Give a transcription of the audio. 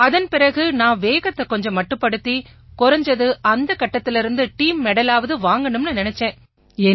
அதன் பிறகு நான் வேகத்தைக் கொஞ்சம் மட்டுப்படுத்தி குறைஞ்சது அந்தக் கட்டத்திலேர்ந்து டீம் மெடலாவது வாங்கணும்னு நினைச்சேன்